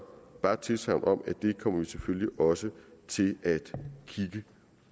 bare et tilsagn om at det kommer vi selvfølgelig også til at kigge